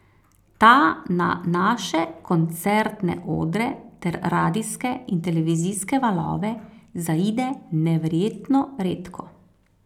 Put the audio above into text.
Ta na naše koncertne odre ter radijske in televizijske valove zaide neverjetno redko.